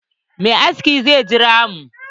Mai aski zai jira mu.